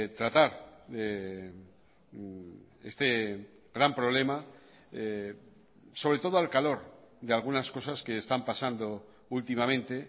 tratar este gran problema sobre todo al calor de algunas cosas que están pasando últimamente